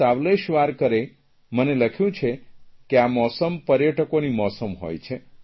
સાવલેશવારકરે મને લખ્યું છે કે આ મોસમ પર્યટકોની મોસમ હોય છે